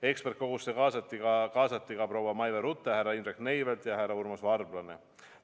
Eksperdikogusse kaasati ka proua Maive Rute, härra Indrek Neivelt ja härra Urmas Varblane.